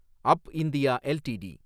up India LTD